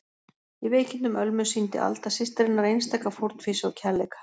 Í veikindum Ölmu sýndi Alda systir hennar einstaka fórnfýsi og kærleika.